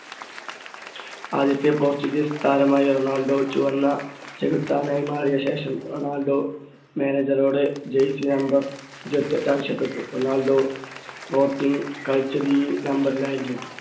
ആദ്യത്തെ പോർച്ചുഗീസ് താരമായ റൊണാൾഡോ ചുവന്ന ചെകുത്താനായി മാറിയ ശേഷം റൊണാൾഡോ manager ഓട് jersey number ഇരുപത്തി എട്ട് ആവശ്യപ്പെട്ടു റൊണാൾഡോ sporting കളിച്ചത് ഈ നമ്പറിൽ ആയിരുന്നു.